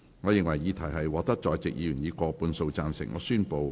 我認為議題獲得在席議員以過半數贊成。